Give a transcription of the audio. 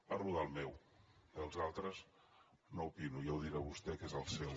parlo del meu dels altres no n’opino ja ho dirà vostè que és el seu